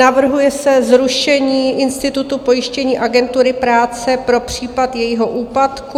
Navrhuje se zrušení institutu pojištění agentury práce pro případ jejího úpadku.